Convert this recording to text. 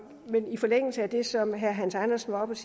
i forlængelse af det som herre hans andersen var oppe